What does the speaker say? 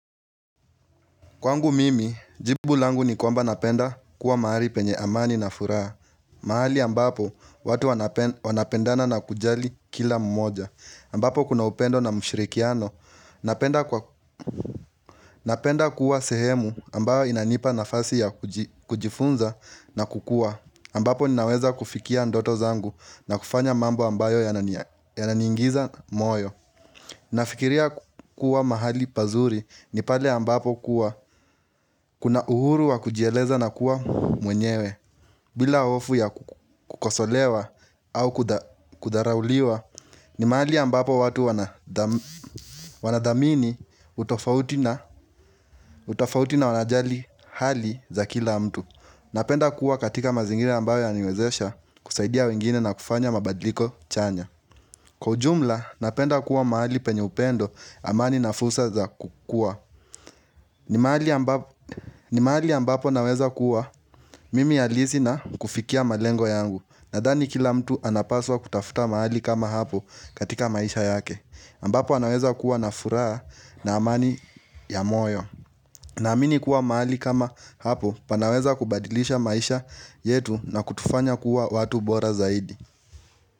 Kwangu mimi, jibu langu nikwamba napenda kuwa mahali penye amani na furaha. Mahali ambapo watu wanape wanapendana na kujali kila mmoja. Ambapo kuna upendo na mshirikiano. Napenda kwa Napenda kuwa sehemu ambayo inanipa nafasi ya kuji kujifunza na kukua. Ambapo ninaweza kufikia ndoto zangu na kufanya mambo ambayo yanania yananiingiza moyo. Nafikiria kuwa mahali pazuri ni pale ambapo kuwa kuna uhuru wa kujieleza na kuwa mwenyewe bila hofu ya kukosolewa au kudha kudharauliwa ni mahali ambapo watu wanadha wanadhamini utofauti na utofauti na wanajali hali za kila mtu Napenda kuwa katika mazingira ambayo ya niwezesha kusaidia wengine na kufanya mabadliko chanya Kwa ujumla, napenda kuwa maali penye upendo amani na fursa za kukua. Ni mahali ambapo naweza kuwa mimi halisi na kufikia malengo yangu. Nadhani kila mtu anapaswa kutafuta mahali kama hapo katika maisha yake. Ambapo anaweza kuwa na furaa na amani ya moyo. Na amini kuwa maali kama hapo panaweza kubadilisha maisha yetu na kutufanya kuwa watu bora zaidi.